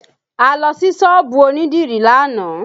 A lọ sí sọ́ọ̀bù onídìrí lánàá